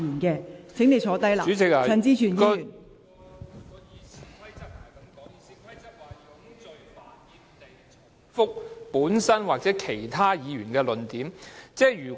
《議事規則》的條文是"冗贅煩厭地重提本身或其他議員的論點"，即如果......